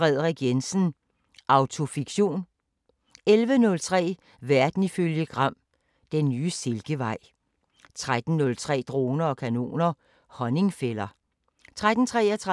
12:15: Opera i guldalderens København (Afs. 2) 00:05: Opera i guldalderens København (Afs. 2)*